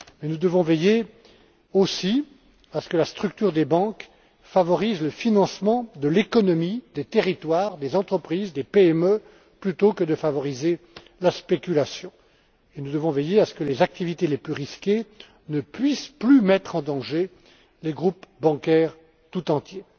Mais nous devons veiller aussi à ce que la structure des banques favorise le financement de l'économie, des territoires, des entreprises, des PME, plutôt que la spéculation. Nous devons veiller aussi à ce que les activités les plus risquées ne puissent plus mettre en danger les groupes bancaires tout entiers.